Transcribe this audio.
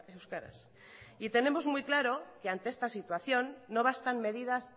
euskaraz y tenemos muy claro que ante esta situación no bastan medidas